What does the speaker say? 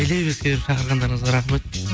елеп ескеріп шақырғандарыңызға рахмет